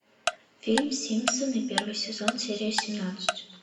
фильм симпсоны первый сезон серия семнадцать